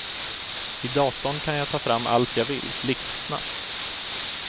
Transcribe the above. I datorn kan jag ta fram allt jag vill, blixtsnabbt.